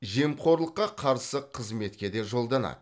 жемқорлыққа қарсы қызметке де жолданады